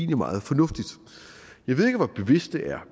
meget fornuftigt jeg ved ikke hvor bevidst det er